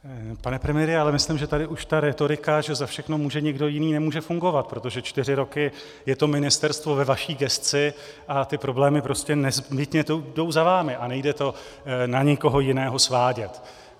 Pane premiére, já myslím, že tady už ta rétorika, že za všechno může někdo jiný, nemůže fungovat, protože čtyři roky je to ministerstvo ve vaší gesci a ty problémy prostě nezbytně jdou za vámi a nejde to na nikoho jiného svádět.